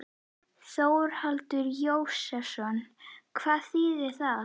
Þórhallur Jósefsson: Hvað þýðir það?